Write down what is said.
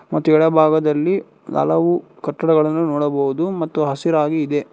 ಮತ್ತು ಏಡಭಾಗದಲ್ಲಿ ಹಲವು ಕಟ್ಟಡಗಳನು ನೋಡಬಹುದು ಮತ್ತು ಹಸಿರಾಗಿ ಇದೆ.